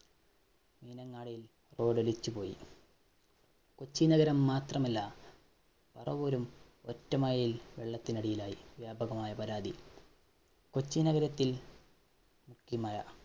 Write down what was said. മീനങ്ങാടിയില്‍ road ലിച്ചു പോയി. കൊച്ചി നഗരം മാത്രമല്ല പറവൂരും ഒറ്റ മഴയില്‍ വെള്ളത്തിനടിയിലായി വ്യാപകമായ പരാതി. കൊച്ചി നഗരത്തില്‍